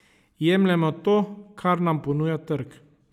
Jemljemo to, kar nam ponuja trg.